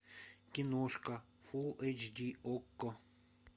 киношка фулл эйч ди окко